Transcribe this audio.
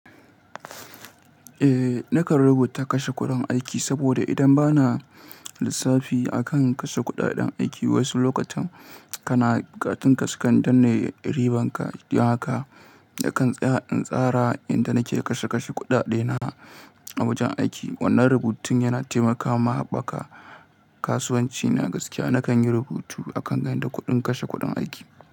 Eh, na kan rubuta kashe kuɗin aiki saboda idan ba na lissafi a kan kashe kuɗaɗen aiki, wasu lokutan kana katun kaska don riban ka. Haka na kan tsaya a tsara inda na ke kashe kashe kuɗaɗena a wajen aiki. Wannan rubutun yana taimakawa haɓaka kasuwanci na gaskiya. Na kan yi rubutu a kan gandun kuɗin kashe kuɗin aiki.